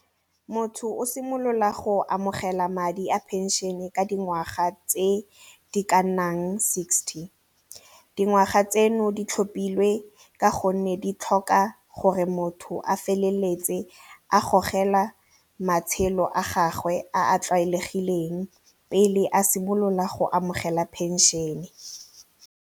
Motho o simolola go amogela madi a pension-e ka dingwaga tse di ka nnang sixty, dingwaga tseno di tlhopilwe ka gonne di tlhoka gore motho a feleletse a gogela matshelo a gagwe a a tlwaelegileng pele a simolola go amogela pension-e.